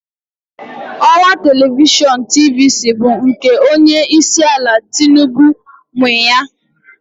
Ọwa telivishọn TVC bụ nke Onye isi ala Tinubu nwe ya.